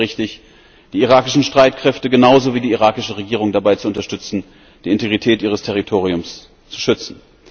Ich hielte es für richtig, die irakischen Streitkräfte genauso wie die irakische Regierung dabei zu unterstützen, die Integrität ihres Territoriums zu schützen.